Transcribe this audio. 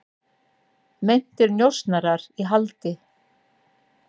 Meintir njósnarar í haldi